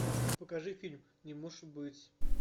покажи фильм не может быть